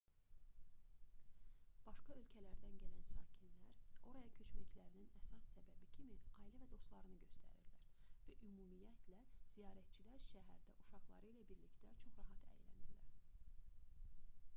başqa yerlərdən gələn sakinlər oraya köçməklərinin əsas səbəbi kimi ailə və dostlarını göstərirlər və ümumiyyətlə ziyarətçilər şəhərdə uşaqları ilə birlikdə çox rahat əylənirlər